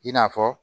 I n'a fɔ